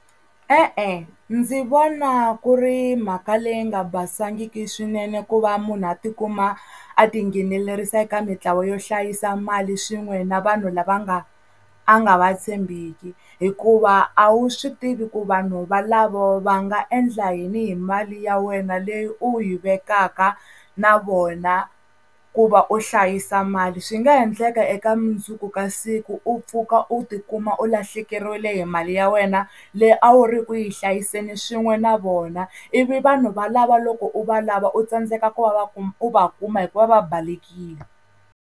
E-e ndzi vona ku ri mhaka leyi nga basangiki swinene ku va munhu a tikuma a tinghenelerisa eka mintlawa yo hlayisa mali swin'we na vanhu lava nga a nga va tshembiki hikuva a wu swi tivi ku vanhu valavo va nga endla yini hi mali ya wena leyi u yi vekaka na vona ku va u hlayisa mali swi nga endleka eka mundzuku ka siku u pfuka u tikuma u lahlekeriwile hi mali ya wena leyi a wu ri ku yi hlayiseni swin'we na vona ivi vanhu valava loko u valava u tsandzeka ku va va u va kuma hikuva va balekile.